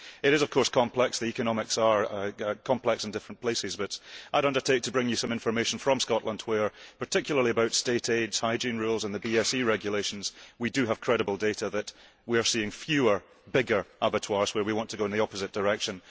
It is of course complex. The economics are complex in different places, but I would undertake to bring you some information from Scotland where, particularly in relation to state aid, hygiene rules and the BSE regulations, we do have credible data that we are seeing fewer, bigger abattoirs whereas we want to go in the opposite direction.